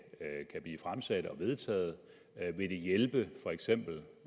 blive fremsat og vedtaget vil det hjælpe for eksempel